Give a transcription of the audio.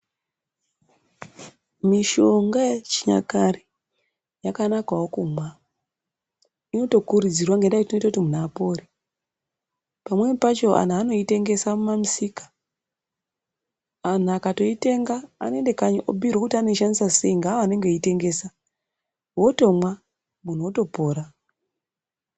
Mishonga yechinyakare yakanakawo kumwa inotokurudzirwa ngenda yekuti inotoita kuti munhu apore, pamweni pacho anhu anoitengesa mumamisika anhu akatoitenga anoende kanyi anobhirwa kuti anoishandisa sei nenawo anenge eiitengesa wotomwa munhu otopora.